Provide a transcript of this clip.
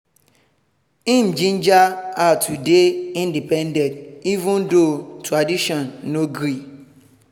im ginger her to dey independent even though tradition no gree